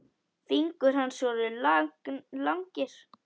Fingur hans voru langir.